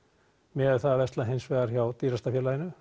miðað við það að versla hins vegar hjá dýrasta félaginu